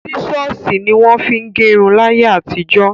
Sísọ̀sì ní wọ́n fin gẹrun láyé àtijọ́.